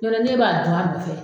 Yɔrɔ n'e b'a d'a nɔfɛ